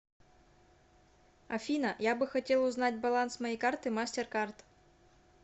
афина я бы хотел узнать баланс моей карты мастеркард